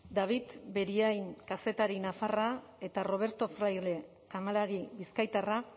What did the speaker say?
david beriain kazetari nafarra eta roberto fraile kamalari bizkaitarra